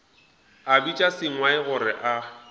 a bitša sengwai gore a